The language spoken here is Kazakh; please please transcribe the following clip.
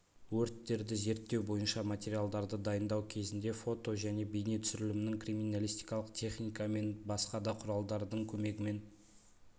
өрттерді зерттеу бойынша материалдарды дайындау кезінде фото және бейнетүсірілімнің криминалистикалық техника мен басқа да құралдардың көмегімен